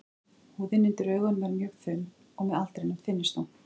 Húðin undir augunum er mjög þunn og með aldrinum þynnist hún.